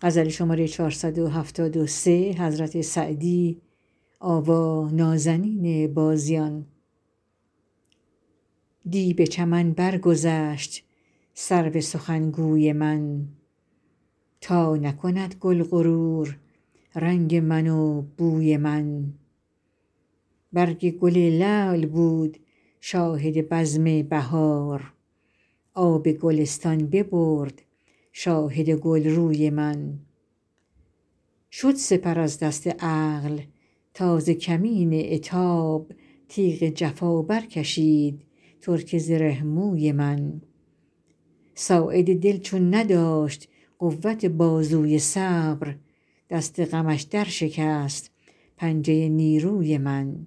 دی به چمن برگذشت سرو سخنگوی من تا نکند گل غرور رنگ من و بوی من برگ گل لعل بود شاهد بزم بهار آب گلستان ببرد شاهد گلروی من شد سپر از دست عقل تا ز کمین عتاب تیغ جفا برکشید ترک زره موی من ساعد دل چون نداشت قوت بازوی صبر دست غمش درشکست پنجه نیروی من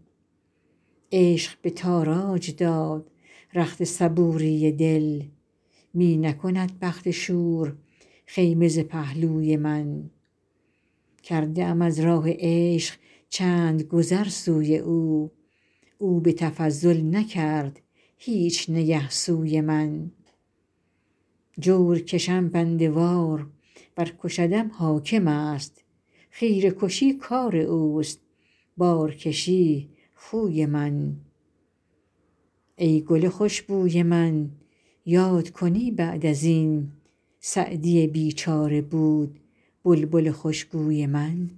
عشق به تاراج داد رخت صبوری دل می نکند بخت شور خیمه ز پهلوی من کرده ام از راه عشق چند گذر سوی او او به تفضل نکرد هیچ نگه سوی من جور کشم بنده وار ور کشدم حاکم است خیره کشی کار اوست بارکشی خوی من ای گل خوش بوی من یاد کنی بعد از این سعدی بیچاره بود بلبل خوشگوی من